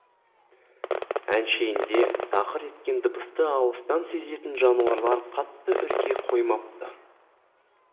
әншейінде тақыр еткен дыбысты алыстан сезетін жануарлар қатты үрке қоймапты